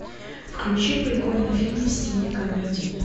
включи прикольный фильм в стиле комедия